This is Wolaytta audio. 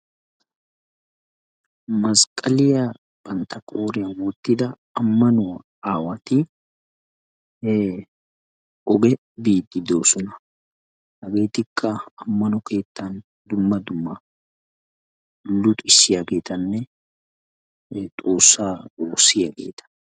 maskaaliyaa bantta qooriyaan wottida ammanuwaa aawati oge biiddi de'oosona. haggetikka ammano keettan dumma dumma luuxxisiyaagetanne xoossaa wossiyaageta.